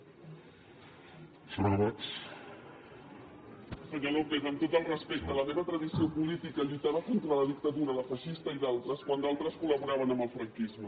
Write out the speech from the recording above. senyor lópez amb tot el respecte la meva tradició política lluitava contra la dictadura la feixista i d’altres quan d’altres col·laboraven amb el franquisme